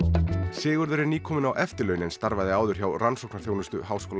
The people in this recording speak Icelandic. Sigurður er nýkominn á eftirlaun en starfaði áður hjá rannsóknarþjónustu h